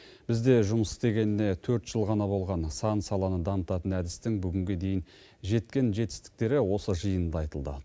бізде жұмыс істегеніне төрт жыл ғана болған сан саланың дамытатын әдістің бүгінге дейін жеткен жетістіктері осы жиында айтылды